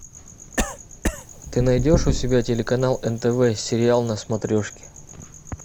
ты найдешь у себя телеканал нтв сериал на смотрешке